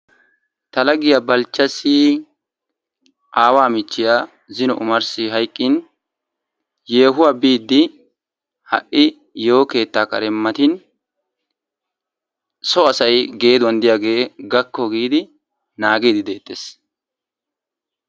Ta laggiya Balchchassi aawaa michchiya zino omarsi hayqqin yeehuwa biidi ha''i yeeho keettaa kare matin so asay geeduwan diyagee gakko giidi naagiiddi deettees.